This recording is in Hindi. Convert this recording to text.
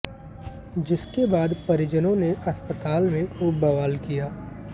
जिसके बाद परिजनों ने अस्पताल में खूब बवाल किया